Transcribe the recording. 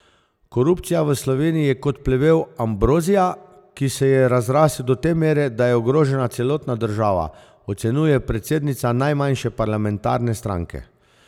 Korupcija v Sloveniji je kot plevel ambrozija, ki se je razrasel do te mere, da je ogrožena celotna država, ocenjuje predsednica najmanjše parlamentarne stranke.